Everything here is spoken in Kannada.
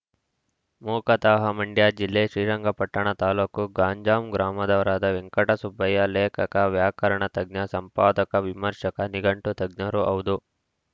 ಮೂಕತಃ ಮಂಡ್ಯ ಜಿಲ್ಲೆ ಶ್ರೀರಂಗಪಟ್ಟಣ ತಾಲೂಕು ಗಂಜಾಂ ಗ್ರಾಮದವರಾದ ವೆಂಕಟಸುಬ್ಬಯ್ಯ ಲೇಖಕ ವ್ಯಾಕರಣ ತಜ್ಞ ಸಂಪಾದಕ ವಿಮರ್ಶಕ ನಿಘಂಟು ತಜ್ಞರೂ ಹೌದು